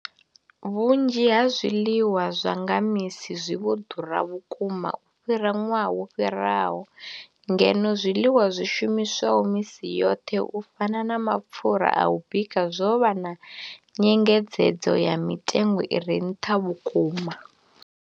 Vhunzhi ha zwiḽiwa zwa nga misi zwi vho ḓura vhukuma u fhira ṅwaha wo fhiraho, ngeno zwiḽiwa zwi shumiswaho misi yoṱhe u fana na mapfhura a u bika zwo vha na nyengedzedzo ya mitengo i re nṱha vhukuma.